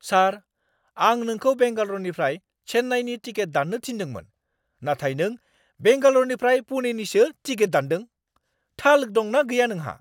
सार! आं नोंखौ बेंगाल'रनिफ्राय चेन्नाईनि टिकेट दान्नो थिन्दोंमोन, नाथाय नों बेंगाल'रनिफ्राय पुणेनिसो टिकेट दानदों। थाल दं ना गैया नोंहा?